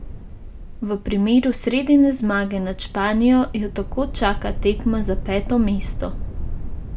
V primeru sredine zmage nad Španijo jo tako čaka tekma za peto mesto.